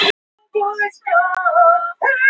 En við létum hana ekki komast upp með eitt eða neitt.